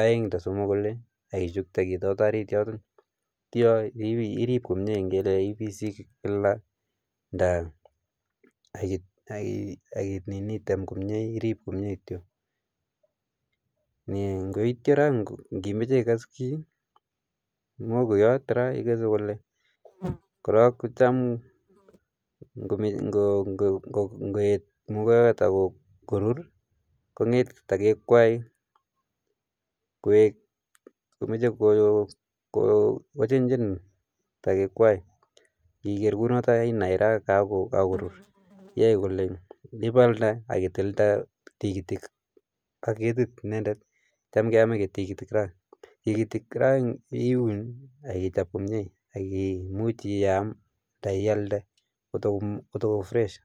aeng nda somok kole akichukte ketoto ariit yoto atyo iriip komnye ngele ipisi kila nda item komnye irip komnye kityo. Aityo ra ngimeche ikees kiy muhogoiyot ra, ikeese kole, kora kotam ngoet muhogowot ako ruur ko ketito ko kwae komache ko chenchen tekikwai, ngigeer kunoto inai ra kakoruu, yae kole ipalde ak itilde tigitik ak ketiti inendet, tam keame tiigitik ra iun ak kichop komnye ak kimuch iam andan ialda kotoko fresh.